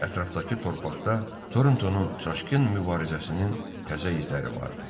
Ətrafdakı torpaqda Torntonun çaşqın mübarizəsinin təzə izləri vardı.